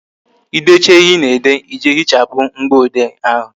Ị decha ihe Ị na-ede, Ị jee hichapụ mgboode ahụ